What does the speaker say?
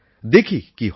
দেখি কী হয়